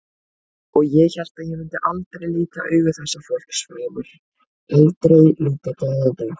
Og ég hélt ég myndi aldrei líta augu þessa fólks framar, aldrei líta glaðan dag.